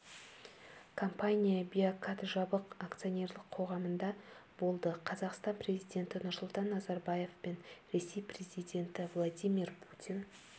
компания биокад жабық акционерлік қоғамында болды қазақстан президенті нұрсұлтан назарбаев пен ресей президенті владимир путин